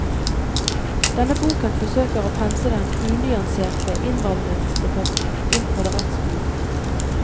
Denne boken forsøker å pense den unyanserte innvandringsdebatten inn på rett spor.